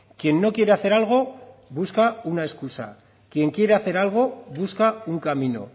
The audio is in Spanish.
quien no quiere hacer algo busca una excusa quien quiere hace algo busca un camino